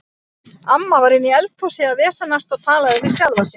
Amma var inni í eldhúsi að vesenast og talaði við sjálfa sig.